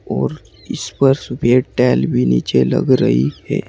और इस पर सफेद टाइल भी नीचे लग रही है।